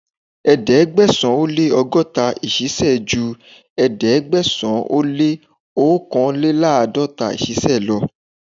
Ẹ̀ẹ́dẹ̀gbẹ̀sán ó lé ọgọ́ta ìṣìsẹ̀ ju ẹ̀ẹ́dẹ́gbẹ̀sán ó lé òòkànléláàdọ́ta ìṣísẹ̀ lọ.